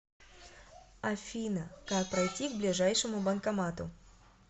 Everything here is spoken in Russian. афина как пройти к ближайшему банкомату